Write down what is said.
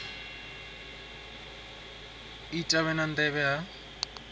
i ita vhe nnḓa ha